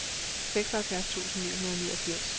seksoghalvfjerds tusind ni hundrede og niogfirs